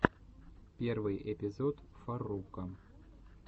первый эпизод фарруко